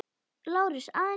LÁRUS: Aðeins í stuttan tíma.